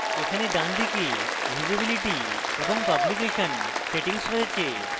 এখানে ডানদিকে visibility এবং publication settings সেটিংস রয়েছে